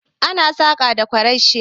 Ana saƙa da ƙwarashi